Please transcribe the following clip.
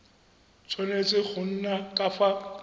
tshwanetse go nna ka fa